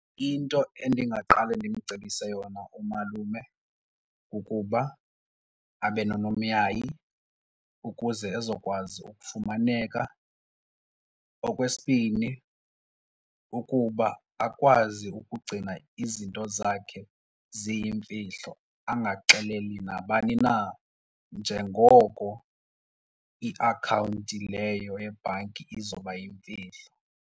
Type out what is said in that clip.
Into endingaqale ndimcebise yona umalume kukuba abe nonomyayi ukuze ezokwazi ukufumaneka. Okwesibini ukuba akwazi ukugcina izinto zakhe ziyimfihlo angaxeleli nabani na njengoko iakhawunti leyo yebhanki izoba yimfihlo.